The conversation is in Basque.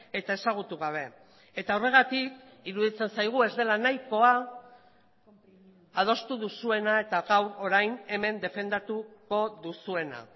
eta ezagutu gabe eta horregatik iruditzen zaigu ez dela nahikoa adostu duzuena eta gaur orain hemen defendatuko duzuena